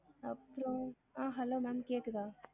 அப்ரோ ah hello ma'am கேக்குதா